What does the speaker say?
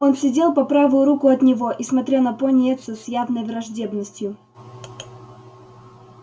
он сидел по правую руку от него и смотрел на пониетса с явной враждебностью